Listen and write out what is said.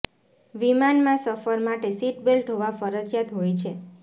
વિમાનમાં સફર માટે સીટ બેલ્ટ હોવા ફરજિયાત હોય છે